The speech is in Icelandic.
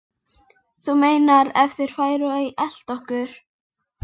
Þú meinar. ef þeir færu að elta okkur?